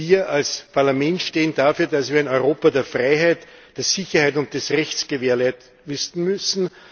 Wir als Parlament stehen dafür, dass wir ein Europa der Freiheit, der Sicherheit und des Rechts gewährleisten müssen.